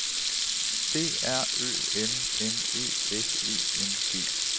D R Ø M M E S E N G